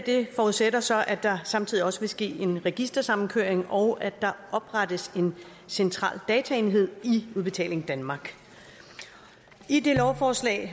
forudsætter så at der samtidig også sker en registersamkøring og at der oprettes en central dataenhed i udbetaling danmark i det lovforslag